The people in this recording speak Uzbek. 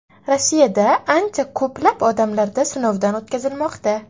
Rossiyada ancha ko‘plab odamlarda sinovdan o‘tkazilmoqda.